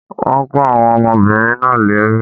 Wọ́n kó àwọn ọmọbìnrin náà lẹ́rú